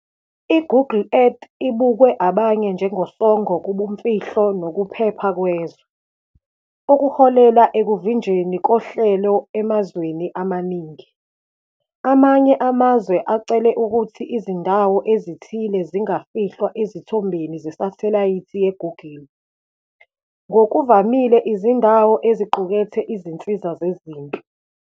I-Google Earth ibukwe abanye njengosongo kubumfihlo nokuphepha kwezwe, okuholela ekuvinjweni kohlelo emazweni amaningi. Amanye amazwe acele ukuthi izindawo ezithile zingafihlwa ezithombeni zesathelayithi ye-Google, ngokuvamile izindawo eziqukethe izinsiza zezempi.